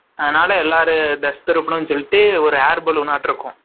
அதுனால எல்லாரும் ஒரு air balloon இருக்கும்